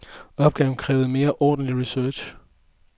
Opgaven krævede mere ordentlig research.